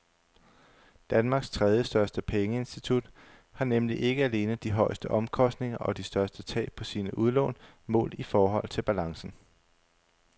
Danmarks tredjestørste pengeinstitut har nemlig ikke alene de højeste omkostninger og de største tab på sine udlån målt i forhold til balancen.